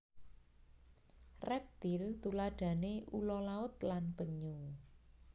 Reptil tuladhane ula laut lan penyu